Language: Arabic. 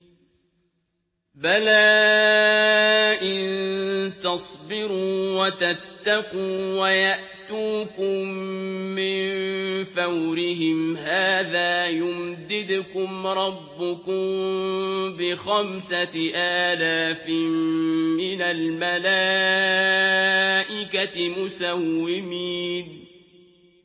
بَلَىٰ ۚ إِن تَصْبِرُوا وَتَتَّقُوا وَيَأْتُوكُم مِّن فَوْرِهِمْ هَٰذَا يُمْدِدْكُمْ رَبُّكُم بِخَمْسَةِ آلَافٍ مِّنَ الْمَلَائِكَةِ مُسَوِّمِينَ